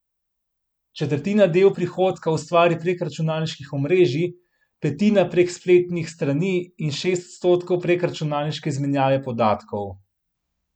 Četrtina del prihodka ustvari prek računalniških omrežij, petina prek spletnih strani in šest odstotkov prek računalniške izmenjave podatkov.